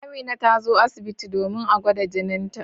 Amina ta zo asibiti domin a gwada jinita.